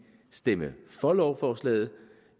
stemme for lovforslaget